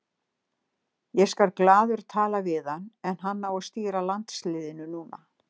Ég skal glaður tala við hann en hann á að stýra landsliðinu núna.